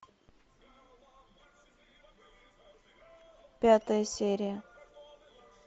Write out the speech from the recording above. пятая серия